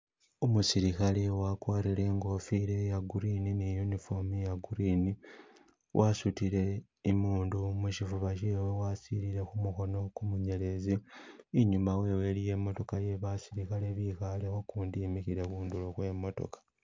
Umusilikhale wagwarile ingofila ya green ni uniform ya green wasudile imundu mushifuba shewe wasilile kumukhono munyelezi inyuma wewe iliyo imotokha yebasilikhale bikhaleko gundi imikhile hundulo kwe imotoka